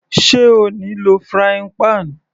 Sé O ní lò frying pan?